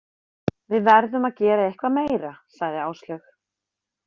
Við verðum að gera eitthvað meira, sagði Áslaug.